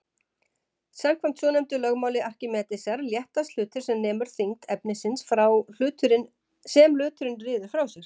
Samkvæmt svonefndu lögmáli Arkímedesar léttast hlutir sem nemur þyngd efnisins sem hluturinn ryður frá sér.